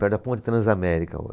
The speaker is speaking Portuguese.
Perto da ponte Transamérica o